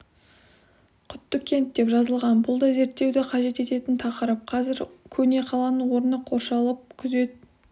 құттыкент деп жазылған бұл да зерттеуді қажет ететін тақырып қазір көне қаланың орны қоршалып күзет